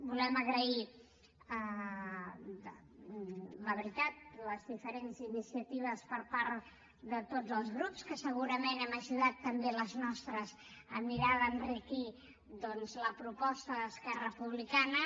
volem agrair la veritat les diferents iniciatives per part de tots els grups que segurament hem ajudat també amb les nostres a mirar d’enriquir la proposta d’esquerra republicana